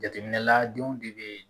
Jateminɛla denw de bɛ